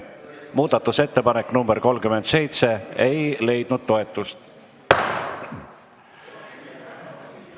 Muudatusettepanek nr 37 ei leidnud toetust.